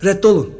Rədd olun!